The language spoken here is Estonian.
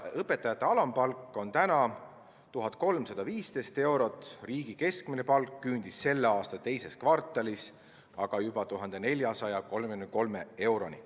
Õpetaja alampalk on 1315 eurot, riigi keskmine palk küündis selle aasta teises kvartalis aga juba 1433 euroni.